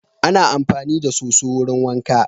Ana amfani da so_so wurin wanka